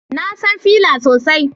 Na san Fela sosai